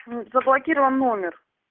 заблокирован номер